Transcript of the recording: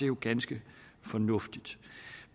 jo ganske fornuftigt